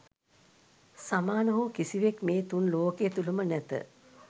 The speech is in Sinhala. සමාන හෝ කිසිවෙක් මේ තුන් ලෝකය තුළ ම නැත